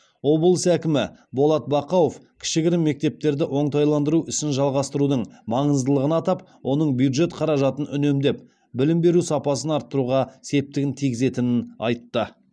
облыс әкімі болат бақауов кішігірім мектептерді оңтайландыру ісін жалғастырудың маңыздылығын атап оның бюджет қаражатын үнемдеп білім беру сапасын арттыруға септігін тигізетінін айтты